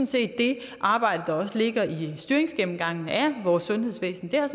set det arbejde der også ligger i styringsgennemgangen af vores sundhedsvæsen det er